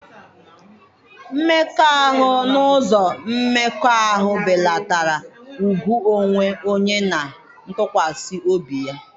Mmekọahụ n'ụzọ mmekọahụ belatara ùgwù onwe onye na ntụkwasị obi ya.